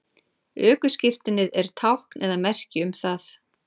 ökuskírteinið er tákn eða merki um það